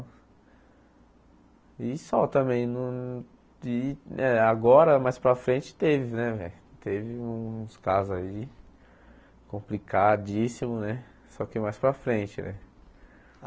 E só também no e, eh agora mais para frente teve né velho, teve uns uns casos aí complicadíssimos né, só que mais para frente né.